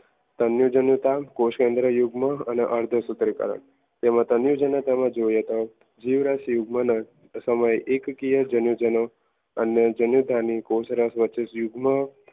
અન્ય જીવતા કોષકેન્દ્ર યુગમાં અને અર્થસૂત્રિકા તેમજ અન્ય જીવિતતામાં જોઈએ તો જીવરસ યુગ્મના સમયે એકકીય જનનદરીઓ અને જન્યતાની કોષરસ વચ્ચે યુગમાં